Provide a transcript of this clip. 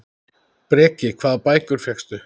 Breki: Hvaða bækur fékkstu?